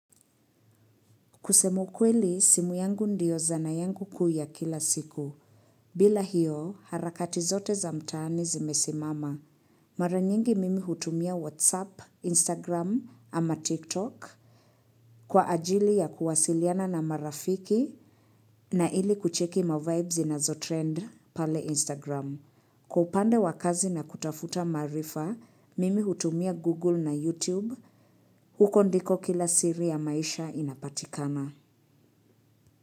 Kusema ukweli, simu yangu ndio zanaa yangu kuu ya kila siku. Bila hiyo, harakati zote za mtaani zimesimama. Mara nyingi mimi hutumia WhatsApp, Instagram ama TikTok kwa ajili ya kuwasiliana na marafiki na ili kucheki mavibes na zo trend pale Instagram. Kwa upande wakazi na kutafuta maarifa, mimi hutumia Google na YouTube. Huko ndiko kila siri ya maisha inapatikana.